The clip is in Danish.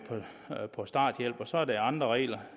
på starthjælp og så er der andre regler